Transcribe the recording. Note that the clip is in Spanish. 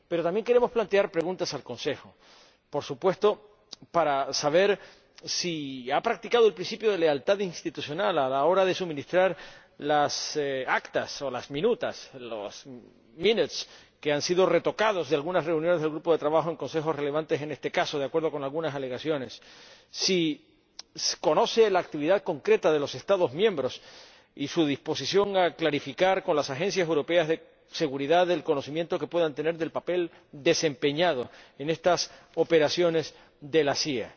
Pero también queremos plantear preguntas al Consejo, por supuesto, para saber si ha practicado el principio de lealtad institucional a la hora de suministrar las actas de algunas reuniones del grupo de trabajo en Consejos relevantes en este caso, que, de acuerdo con algunas informaciones, han sido retocadas si conoce la actividad concreta de los Estados miembros y su disposición a clarificar con las agencias europeas de seguridad el conocimiento que puedan tener del papel desempeñado en estas operaciones de la CIA.